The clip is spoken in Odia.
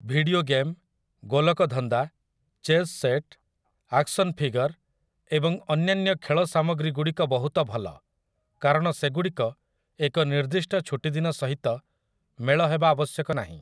ଭିଡିଓ ଗେମ୍, ଗୋଲକଧନ୍ଦା, ଚେସ୍ ସେଟ୍, ଆକ୍ସନ୍ ଫିଗର୍, ଏବଂ ଅନ୍ୟାନ୍ୟ ଖେଳ ସାମଗ୍ରୀଗୁଡ଼ିକ ବହୁତ ଭଲ, କାରଣ ସେଗୁଡ଼ିକ ଏକ ନିର୍ଦ୍ଦିଷ୍ଟ ଛୁଟିଦିନ ସହିତ ମେଳ ହେବା ଆବଶ୍ୟକ ନାହିଁ ।